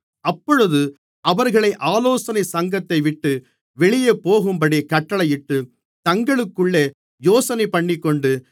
அப்பொழுது அவர்களை ஆலோசனைச் சங்கத்தைவிட்டு வெளியே போகும்படி கட்டளையிட்டு தங்களுக்குள்ளே யோசனைபண்ணிக்கொண்டு